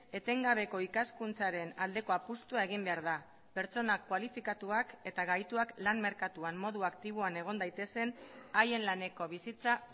etengabeko ikaskuntzaren aldeko apustua egin behar da pertsonak kualifikatuak eta gaituak lan merkatuan modu aktiboan egon daitezen haien laneko bizitza